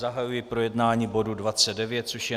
Zahajuji projednání bodu 29, což je